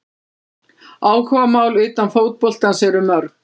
Áhugamál utan fótboltans eru mörg.